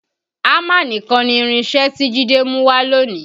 Hámà nìkan ni irinṣẹ́ tí Jide mú wá lónìí